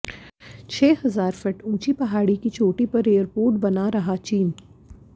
छह हजार फीट ऊंची पहाड़ की चोटी पर एयरपोर्ट बना रहा चीन